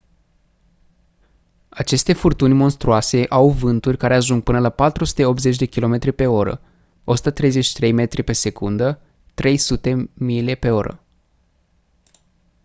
aceste furtuni monstruoase au vânturi care ajung până la 480 km/h 133 m/s; 300 mph